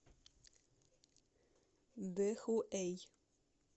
дэхуэй